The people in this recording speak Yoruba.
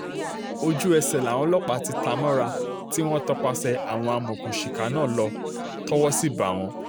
ojú-ẹsẹ̀ làwọn ọlọ́pàá ti ta mọ́ra um tí wọ́n tọpasẹ̀ àwọn amọ̀òkùnsíkà náà um lọ tọwọ́ sí bá wọn